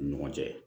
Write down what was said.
U ni ɲɔgɔn cɛ